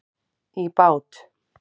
í bát.